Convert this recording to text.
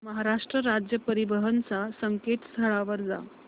महाराष्ट्र राज्य परिवहन च्या संकेतस्थळावर जा